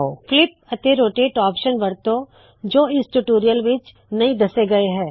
flip ਅਤੇ rotate option ਵਰਤੋ ਜੋ ਇਸ ਟਯੂਟੋਰਿਯਲ ਵਿੱਚ ਨਹੀ ਦੱਸੇ ਗਏ ਹਨ